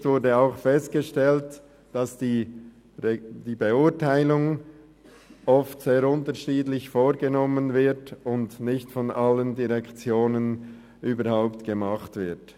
Im Bericht wurde auch festgestellt, dass die Beurteilung oft sehr unterschiedlich vorgenommen und nicht von allen Direktionen durchgeführt wird.